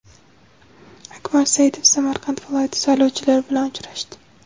Akmal Saidov Samarqand viloyati saylovchilari bilan uchrashdi.